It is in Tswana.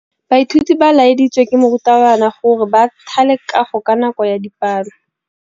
Baithuti ba laeditswe ke morutabana gore ba thale kagô ka nako ya dipalô.